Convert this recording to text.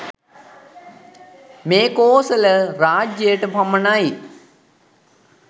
මේ කෝසල රාජ්‍යයට පමණයි.